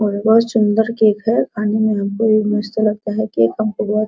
यहाँ पे बहुत सुन्दर केक है | खाने मैं हमको मस्त लगता है केक | हमको बहुत --